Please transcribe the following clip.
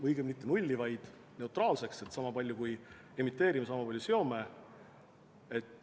Õigemini mitte nulli, vaid neutraalsuseni: sama palju kui emiteerime, sama palju seome.